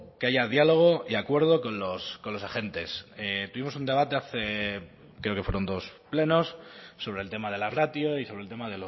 que haya diálogo y acuerdo con los agentes tuvimos un debate hace creo que fueron dos plenos sobre el tema de la ratio y sobre el tema